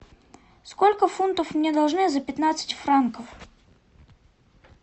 сколько фунтов мне должны за пятнадцать франков